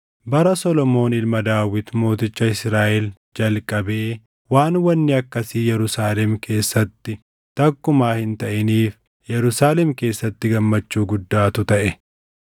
Bara Solomoon ilma Daawit mooticha Israaʼel jalqabee waan wanni akkasii Yerusaalem keessatti takkumaa hin taʼiniif Yerusaalem keessatti gammachuu guddaatu taʼe.